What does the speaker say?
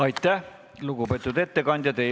Aitäh, lugupeetud ettekandja!